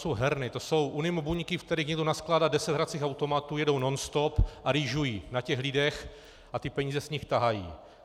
To jsou herny, to jsou unimobuňky, ve kterých někdo naskládá deset hracích automatů, jedou nonstop a rýžují na těch lidech a ty peníze z nich tahají.